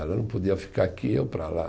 Ela não podia ficar aqui e eu para lá.